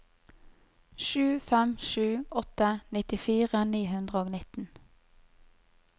sju fem sju åtte nittifire ni hundre og nitten